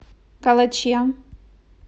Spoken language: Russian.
калаче